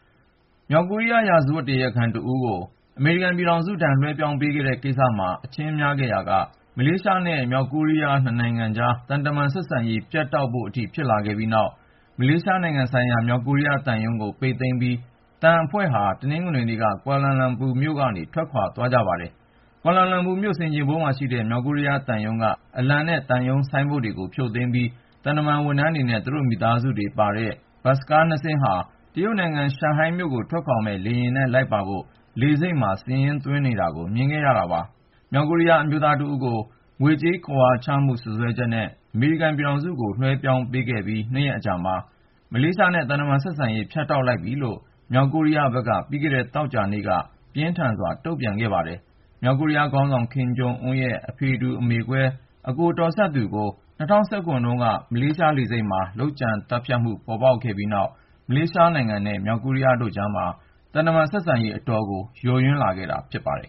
မြောက်ကိုရီးယား ရာဇဝတ်တရားခံတဦးကို အမေရိကန်ပြည်ထောင်စုထံ လွှဲပြောင်းပေးခဲ့တဲ့ကိစ္စမှာ အချင်းများခဲ့ရာက မလေးရှားနဲ့ မြောက်ကိုရီးယား နှစ်နိုင်ငံကြား သံတမန်ဆက်ဆံရေး ဖြတ်တောက်ဖို့အထိ ဖြစ်လာခဲ့ပြီးနောက် မလေးရှားနိုင်ငံဆိုင်ရာ မြောက်ကိုရီးယားသံရုံးကို ပိတ်သိမ်းပြီး သံအဖွဲ့ဟာ တနင်္ဂနွေနေ့က ကွာလာလမ်ပူကနေ ထွက်ခွါသွားကြပါတယ်။ ကွာလာလမ်ပူမြို့ ဆင်ခြေဖုံးမှာရှိတဲ့ မြောက်ကိုရီးယားသံရုံးက အလံနဲ့ သံရုံးဆိုင်းဘုတ်တွေကို ဖြုတ်သိမ်းပြီး သံတမန်ဝန်ထမ်းတွေနဲ့ သူတို့မိသားစုတွေကိုပါ တင်ဆောင်လာတဲ့ ဘတ်စ်ကား ၂ စီးဟာ တရုတ်နိုင်ငံ ရှန်ဟိုင်းမြို့ကို ထွက်ခွါမယ့် လေယာဉ်နဲ့လိုက်ပါဖို့ လေဆိပ်မှာ စာရင်းသွင်းနေတာကို မြင်ခဲ့ရတာပါ။ မြောက်ကိုရီးယားအမျိုးသားတဦးကို ငွေကြေးခဝါချမှု စွပ်စွဲချက်နဲ့ အမေရိကန်ပြည်ထောင်စုကို လွှဲပြောင်းပေးခဲ့ပြီး ၂ ရက်အကြာမှာ မလေးရှားနဲ့ သံတမန်ဆက်ဆံရေး ဖြတ်တောက်လိုက်ပြီလို့ မြောက်ကိုရီးယားဘက်က ပြီးခဲ့တဲ့ သောကြာနေ့က ပြင်းထန်စွာ တုန့်ပြန်ခဲ့ပါတယ်။ မြောက်ကိုရီးယားခေါင်းဆောင် ကင်ဂျုံအွန်းရဲ့ ဖအေတူ အမေကွဲ အကိုတော်စပ်သူကို ၂၀၁၇ တုန်းက မလေးရှားလေဆိပ်မှာ လုပ်ကြံသတ်ဖြတ်မှု ပေါ်ပေါက်ခဲ့ပြီးနောက် မလေးရှားနိုင်ငံနဲ့ မြောက်ကိုရီးယားတို့ကြားမှာ သံတမန်ဆက်ဆံရေး အတော်ကို ယိုယွင်းလာခဲ့တာဖြစ်ပါတယ်